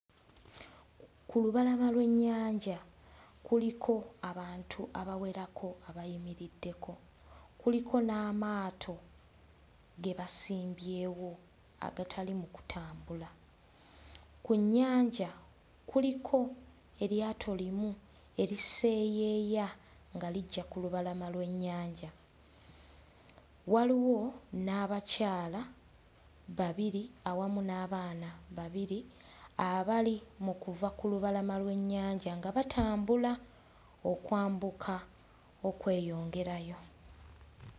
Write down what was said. Ku lubalama lw'ennyanja kuliko abantu abawerako abayimiriddeko, kuliko n'amaato ge basimbyewo agatali mu kutambula. Ku nnyanja kuliko eryato limu eriseeyeeya nga lijja ku lubalama lw'ennyanja, waliwo n'abakyala babiri awamu n'abaana babiri abali mu kuva ku lubalama lw'ennyanja nga batambula okwambuka okweyongerayo.